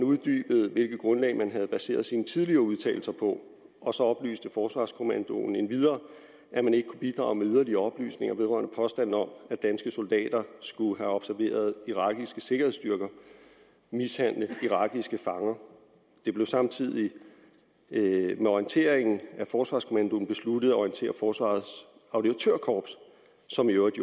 hvilket grundlag man havde baseret sine tidligere udtalelser på og så oplyste forsvarskommandoen endvidere at man ikke kunne bidrage med yderligere oplysninger vedrørende påstanden om at danske soldater skulle have observeret irakiske sikkerhedsstyrker mishandle irakiske fanger det blev samtidig med orienteringen af forsvarskommandoen besluttet at orientere forsvarets auditørkorps som jo i